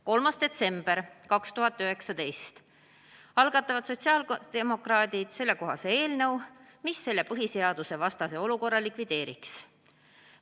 3. detsembril 2019 algatavad sotsiaaldemokraadid eelnõu, mis selle põhiseadusvastase olukorra likvideeriks.